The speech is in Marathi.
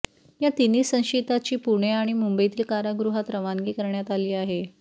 या तिन्ही संशयितांची पुणे आणि मुंबईतील कारागृहात रवानगी करण्यात आली आहे